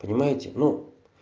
понимаете ну